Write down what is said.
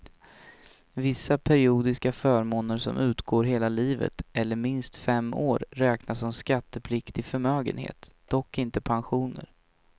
Vissa periodiska förmåner som utgår hela livet eller minst fem år räknas som skattepliktig förmögenhet, dock inte pensioner.